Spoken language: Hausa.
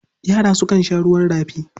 Yara sukan sha ruwan rafi.